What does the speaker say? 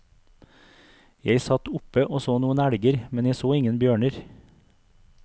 Jeg satt oppe og så noen elger, men jeg så ingen bjørner.